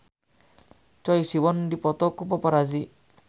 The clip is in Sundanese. Choi Siwon dipoto ku paparazi